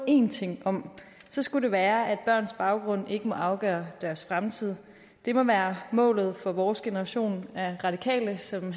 en ting om skulle det være at børns baggrund ikke må afgøre deres fremtid det må være målet for vores generation af radikale som